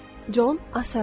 Con Assaraf.